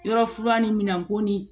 Yɔrɔ fura ni minɛn ko ni